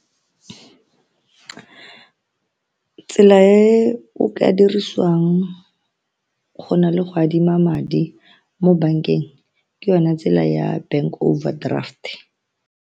Tsela e o ka dirisiwang go na le go adima madi mo bankeng ke yone tsela ya bank overdraft.